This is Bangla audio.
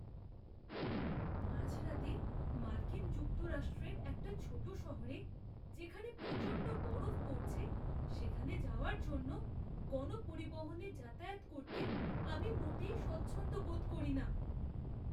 মাঝরাতে মার্কিন যুক্তরাষ্ট্রের একটা ছোট শহরে, যেখানে প্রচণ্ড বরফ পড়ছে, সেখানে যাওয়ার জন্য গণপরিবহনে যাতায়াত করতে আমি মোটেই স্বচ্ছন্দ বোধ করি না।